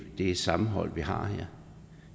det sammenhold vi har her